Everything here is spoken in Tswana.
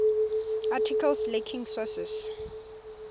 articles lacking sources